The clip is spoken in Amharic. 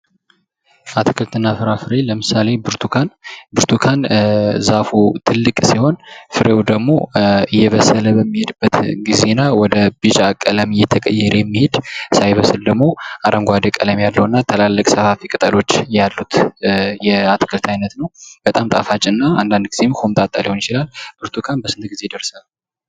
አትክልትና ፍራፍሬ ለምሳሌ ብርቱካን፤ ብርቱካን እዛፉ ትልቅ ሲሆን ፍሬው ደግሞ እየበሰለ በሚሄድበት ጊዜና ወደ ቢጫ ቀለም የተቀየረ የሚሄድ ሳይበስል ደግሞ አረንጓዴ ቀለም ያለው እና ትላልቅ ሰፋፊ ቅጠሎች ያሉት የአትክልት አይነት ነው። በጣም ጣፋጭ እና አንዳንድ ቆምጣጣ ሊሆን ይችላል። ብርቱካን በስንት ጊዜ ይደርሳል?